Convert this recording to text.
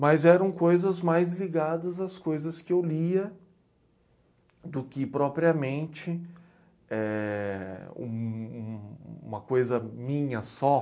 Mas eram coisas mais ligadas às coisas que eu lia do que propriamente, éh... um, uma coisa minha só.